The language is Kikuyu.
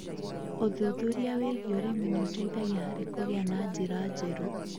Ũthuthuria wĩgiĩ ũrĩmi nĩ ũteithagia harĩ kũgĩa na njĩra njerũ.